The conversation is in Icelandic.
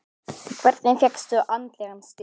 Hvernig fékkstu andlegan styrk?